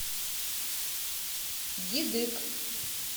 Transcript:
дидык